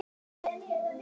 Hann þagnar.